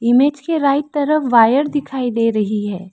Image के right तरफ wire दिखाई दे रही है।